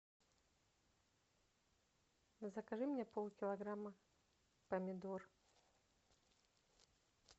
закажи мне полкилограмма помидор